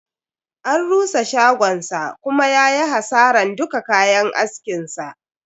An rusa shagonsa kuma yayi hasaran duka kayan askin sa.